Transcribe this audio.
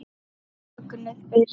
Mögnuð byrjun.